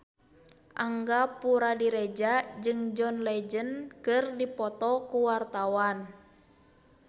Angga Puradiredja jeung John Legend keur dipoto ku wartawan